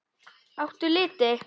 Áttu liti?